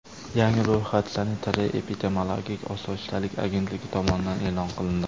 Yangi ro‘yxat Sanitariya-epidemiologik osoyishtalik agentligi tomonidan e’lon qilindi .